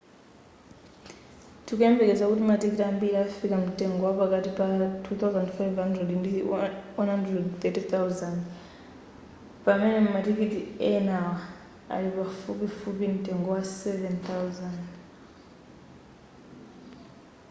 tikuyembekeza kuti matikiti ambiri afika mtengo wapakati pa ¥2,500 ndi ¥130,000 pamene matikiti enawa ali pafupifupi mtengo wa ¥7,000